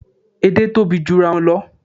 Èdè tóbi jurawọn lọ